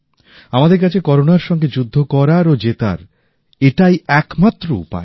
আমাদের কাছে করোনার সাথে যুদ্ধ করার ও জেতার এটাই একমাত্র উপায়